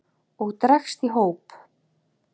og dregst í hóp